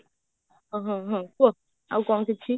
ହଁ ହଁ କୁହ ଆଉ କଣ କିଛି